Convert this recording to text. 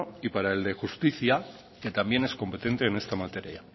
y para el de justicia que también es competente en esta materia